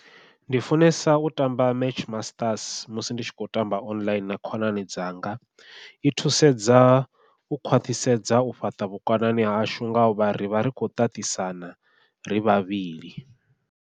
Ndi funesa u tamba match masters musi ndi tshi khou tamba online na khonani dzanga, i thusedza u khwaṱhisedza u fhaṱa vhukonani hashu ngau vha ri vha ri khou ṱaṱisana ri vhavhili.